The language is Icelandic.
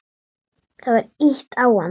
Það var ýtt á hann.